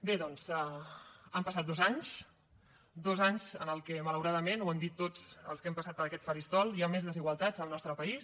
bé doncs han passat dos anys dos anys en què malauradament ho hem dit tots els que hem passat per aquest faristol hi ha més desigualtats al nostre país